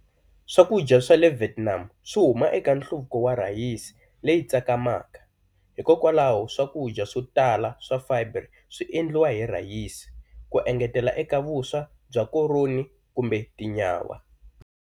Swakudya swa le Vietnam swi huma eka nhluvuko wa rhayisi leyi tsakamaka, hikwalaho swakudya swo tala swa fibre swi endliwa hi rhayisi, ku engetela eka vuswa bya koroni kumbe tinyawa.